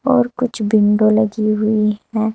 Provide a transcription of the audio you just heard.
और कुछ विंडो लगी हुई हैं।